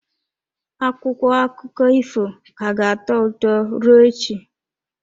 Akwụkwọ akụkọ ifo ka ga-atọ ụtọ ruo echi.